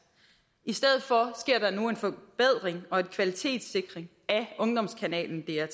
i stedet for sker der nu en forbedring og en kvalitetssikring af ungdomskanalen dr